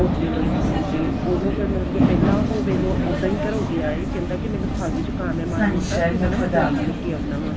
hospital ਤੇ ਉਹਨੂੰ ਮਤਲਬ ਕੇ ਪਹਿਲਾਂ ਉਹ ਵੇਖ੍ਲੋ ਉੱਦਾਂ ਹੀ ਘਰੋਂ ਗਿਆ ਏ ਕਹਿੰਦਾ ਕੀ ਮੈਨੂੰ ਖੰਘ ਜ਼ੁਕਾਮ ਹੈ ਮਾੜਾ ਮੋਟਾ ਕੀ ਹਨਾ ਮੈਂ ਨਾ ਦਵਾਈ ਲੈਕੇ ਆਉਨਾ ਵਾਂ